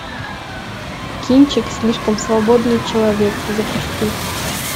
кинчик слишком свободный человек запусти